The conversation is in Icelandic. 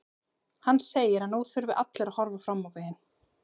Hann segir að nú þurfi allir að horfa fram veginn.